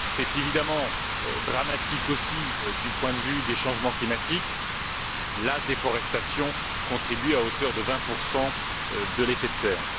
C'est évidemment dramatique aussi du point de vue des changements climatiques la déforestation contribue à hauteur de 20 à l'effet de serre.